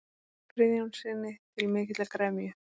Friðjónssyni, til mikillar gremju.